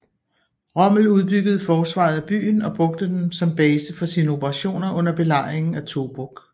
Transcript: Rommel udbyggede forsvaret af byen og brugte den som base for sine operationer under Belejringen af Tobruk